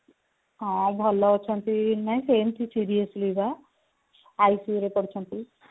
ହଁ ଭଲ ଅଛନ୍ତି ନାଇଁ ସେମିତି seriously ବା ICU ରେ ପଡିଛନ୍ତି